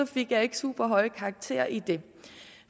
fik jeg ikke super høje karakterer i det